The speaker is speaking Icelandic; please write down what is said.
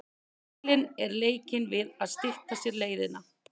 Heilinn er leikinn við að stytta sér leiðirnar.